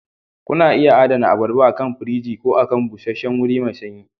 Kuna iya adana abarba akan firji ko a busheshshen wuri mai sanyi